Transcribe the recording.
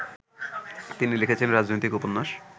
তিনি লিখেছেন রাজনৈতিক উপন্যাস